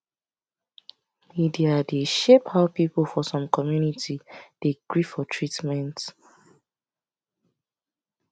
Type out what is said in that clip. media dey shape how people for some community dey gree for treatment